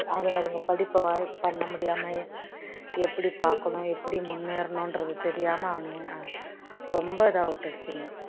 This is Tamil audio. அதுங்க அதுங்க படிப்பை வாழ் பண்ண முடியாம எப்படி பாக்கணும் எப்படி முன்னேறணுன்றது தெரியாம அவனுங்க ஆஹ் ரொம்ப இதா விட்டுடுச்சுங்க